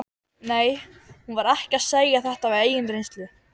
Nei, hún var ekki að segja þetta af eigin reynslu.